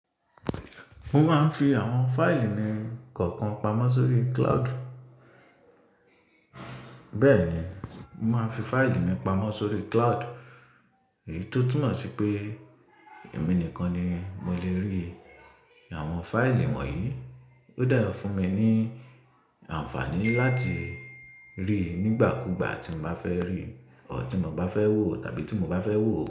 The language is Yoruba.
Mo máa ń fi àwọn fáìlì mi kọ̀ọ̀kan pamọ́ sórí cloud. Bẹ́ẹ̀ ni, mo máa ń fi fáìlì mi pamọ́ sórí cloud, èyí tó túnmọ̀ sí pé èmi nìkan ni mo lè rí àwọn fáìlì wọ̀nyí. Ó dà fún mi ní àǹfààní láti rí i nígbàkúgbà tí mo bá fẹ́ rí i, ọ̀họ̀ tí mo bá fẹ́ wò tàbí tí mo bá fẹ́ wò ó.